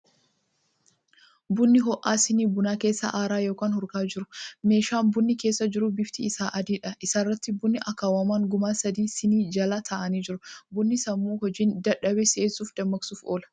Buna hoo'aa sinii bunaa keessaa aaraa yookan hurka'aa jiru. Meeshaa bunni keessa jiru bifti isaa adiidha. Isarratti bunni akaawwamaan gumaa sadii sinii jala taa'anii jiru. Bunni sammuu hojiin dadhabe si'eesufi dammaqsuuf oola.